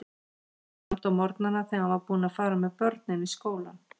Hann samdi á morgnana þegar hann var búinn að fara með börnin í skólann.